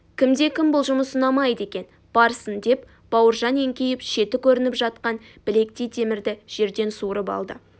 кімде-кімге бұл жұмыс ұнамайды екен барсын деп бауыржан еңкейіп шеті көрініп жатқан білектей темірді жерден суырып алды